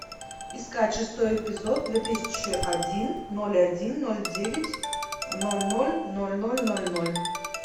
искать шестой эпизод две тысячи один ноль один ноль девять ноль ноль ноль ноль ноль ноль